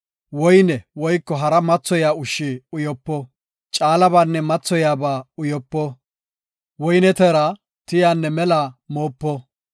woyne woyko hara mathoyiya ushshi uyopo. Caalabanne mathoyaba uyopo; woyne teera, tiyanne mela moopo.